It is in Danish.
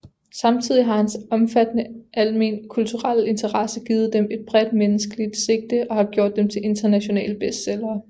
Samtidig har hans omfattende alment kulturelle interesse givet dem et bredt menneskeligt sigte og har gjort dem til internationale bestsellere